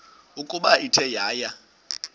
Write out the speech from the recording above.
ukuba ithe yaya